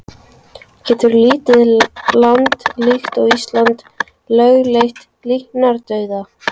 En getur lítið land líkt og Ísland lögleitt líknardauða?